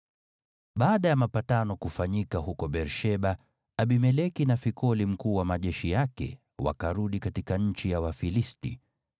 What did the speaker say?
Baada ya mapatano kufanyika huko Beer-Sheba, Abimeleki na Fikoli mkuu wa majeshi yake wakarudi katika nchi ya Wafilisti.